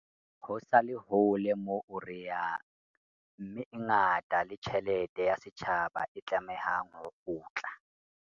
Ho sa le hole moo re yang mme e ngata le tjhelete ya setjhaba e tlamehang ho kgutla.